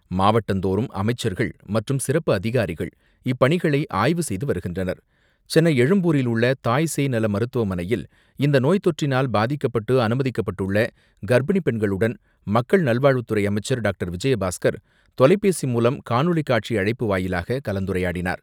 மாவட்டந்தோறும் அமைச்சர்கள் மற்றும் சிறப்பு அதிகாரிகள் இப்பணிகளை ஆய்வு செய்து வருகின்றனர். சென்னை எழும்பூரில் உள்ள தாய்சேய் நல மருத்துவமனையில் இந்த நோய் தொற்றினால் பாதிக்கப்பட்டு அனுமதிக்கப்பட்டுள்ள கர்ப்பிணி பெண்களுடன் மக்கள் நல்வாழ்வுத்துறை அமைச்சர் டாக்டர் விஜயபாஸ்கர் தொலைபேசி மூலம் காணொலி காட்சி அழைப்பு வாயிலாக கலந்துரையாடினார்.